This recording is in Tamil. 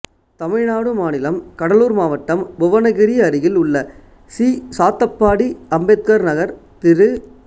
தமிழ்நாடு மாநிலம் கடலூர் மாவட்டம் புவனகிரி அருகில் உள்ள சி சாத்தப்பாடி அம்பேத்கர் நகர் திரு